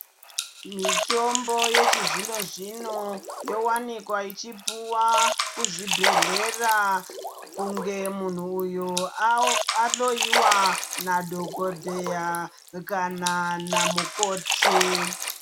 Mitombo yechizvino zvino yowanikwa ichipuwa kuzvibhedhlera, kunge munhu uyo ahloyiwa nadhokodheya kana namukoti.